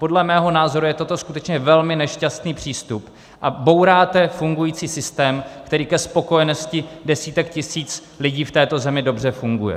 Podle mého názoru je toto skutečně velmi nešťastný přístup a bouráte fungující systém, který ke spokojenosti desítek tisíc lidí v této zemi dobře funguje.